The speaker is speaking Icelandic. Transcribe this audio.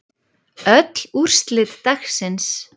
Öll úrslit dagsins